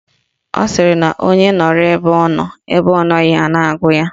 Ọ sịrị na onye nọrọ ebe ọ nọ, ebe ọ nọghị a na-agụ ya